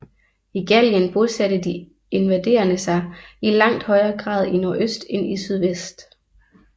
I Gallien bosatte de invaderende sig i langt højere grad i nordøst end i sydvest